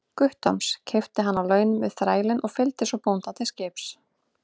Guttorms, keypti hann á laun við þrælinn og fylgdi svo bónda til skips.